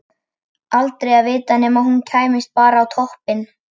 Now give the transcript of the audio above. Aldrei að vita nema hún kæmist bara á toppinn.